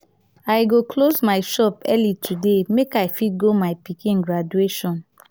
i go close my shop early today make i fit go my pikin graduation.